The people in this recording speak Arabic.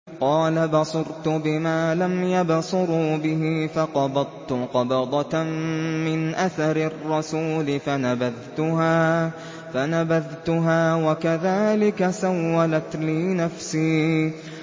قَالَ بَصُرْتُ بِمَا لَمْ يَبْصُرُوا بِهِ فَقَبَضْتُ قَبْضَةً مِّنْ أَثَرِ الرَّسُولِ فَنَبَذْتُهَا وَكَذَٰلِكَ سَوَّلَتْ لِي نَفْسِي